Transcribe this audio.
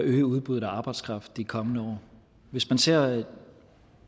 at øge udbuddet af arbejdskraft i de kommende år hvis man ser